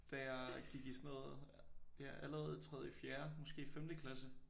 Da jeg gik i sådan noget ja allerede tredje fjerde måske femte klasse